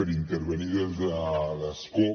per intervenir des de l’escó